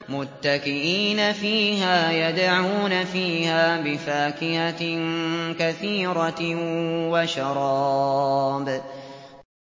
مُتَّكِئِينَ فِيهَا يَدْعُونَ فِيهَا بِفَاكِهَةٍ كَثِيرَةٍ وَشَرَابٍ